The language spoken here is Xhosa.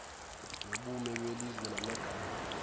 nobume belizwe namagama